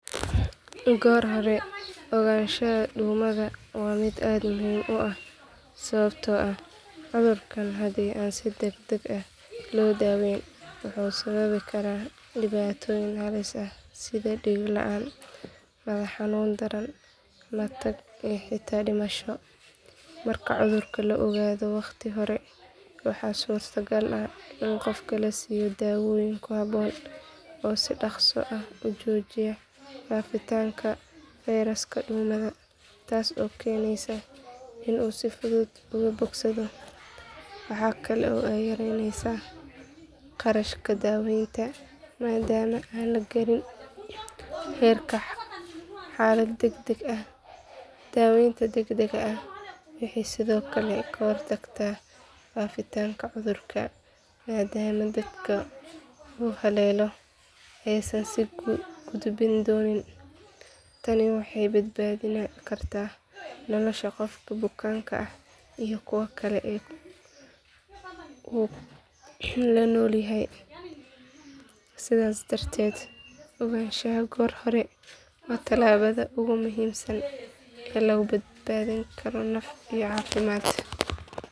Goor hore ogonshaha dumaha waa mid aad muhiim u ah sababta oo ah cudurkan hadii aad iska daween wayso wuxuu sababi karaa dibatoyin fara badan iyo diig laan, madax xanuun daran, matag iyo xitaa dimasho, marka cudurka ladareemo, waxaa suurta gal ah in qofka lasiiyo dawoyin ku haboon oo si daqsi ah ujoojiya fafitaanka feyraska taas oo keneysa in uu si fudud uga bogsado, waxaa kale oo aay yareneysa qarashaka daweenka, xalad dagdag ah, waxeey sido kale kahor tagta fafitaanka cudurka uu haleeyo, tani waxeey badbadin karta nolosha qofka bukanka iyo kuwa kale uu la nool yahay, sidaas darteed oganshaha goor hore waa tilabada ugu muhiimsan oo lagu badbadin karo naf iyo cafimaad.